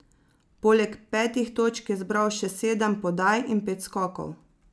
Poleg petih točk je zbral še sedem podaj in pet skokov.